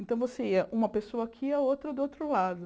Então, você ia uma pessoa aqui e a outra do outro lado.